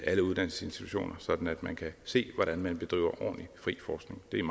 alle uddannelsesinstitutioner sådan at man kan se hvordan man bedriver ordentlig fri forskning det er